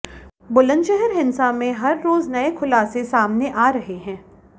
बुलंदशहर हिंसा में हर रोज नए खुलासे सामने आ रहे हैं